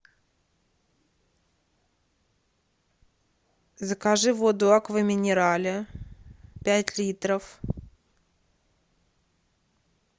закажи воду аква минерале пять литров